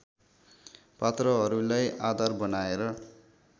पात्रहरूलाई आधार बनाएर